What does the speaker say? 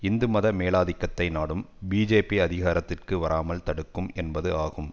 இந்து மத மேலாதிக்கத்தை நாடும் பிஜேபி அதிகாரத்திற்கு வராமல் தடுக்கும் என்பது ஆகும்